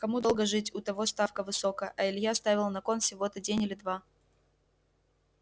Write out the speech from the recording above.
кому долго жить у того ставка высокая а илья ставил на кон всего-то день или два